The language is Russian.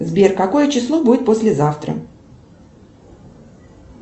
сбер какое число будет послезавтра